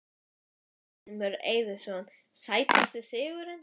Steingrímur Eiðsson Sætasti sigurinn?